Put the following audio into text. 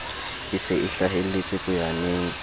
e se e hlahelletse poyaneng